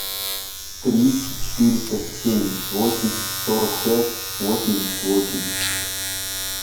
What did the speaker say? три четыреста семьдесят восемь сорок пять восемьдесят восемь